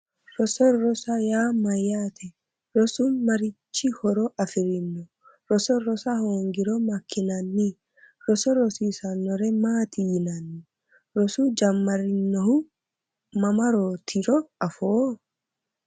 Roso rosoho yaa mayyaate rosu marichi horo afirino roso rosa hoongiro makkinanni roso rosiissannore maati yinanni rosu jammarinohu mamaatiro afoo